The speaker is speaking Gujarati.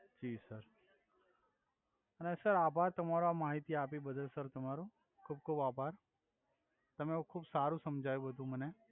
જિ સર અને સર આભાર તમારો આ માહિતી આપી બધુય સર તમારુ ખુબ ખુબ આભાર તમે હવે ખુબ સારુ સમજાવ્યું મને